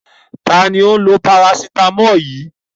Ta ni ó ń lo parasítámọ̀ yìí?